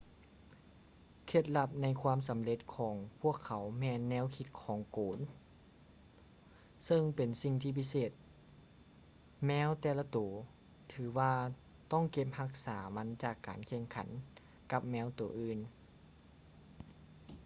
ເຄັດລັບໃນຄວາມສຳເລັດຂອງພວກເຂົາແມ່ນແນວຄິດຂອງໂກນ ເຊິ່ງເປັນສິ່ງພິເສດທີ່ແມວແຕ່ລະໂຕຖືວ່າຕ້ອງເກັບຮັກສາມັນຈາກການແຂ່ງຂັນກັບແມວໂຕອື່ນ